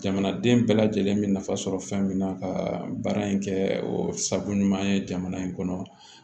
Jamanaden bɛɛ lajɛlen mi nafa sɔrɔ fɛn min na ka baara in kɛ o sago ɲuman ye jamana in kɔnɔ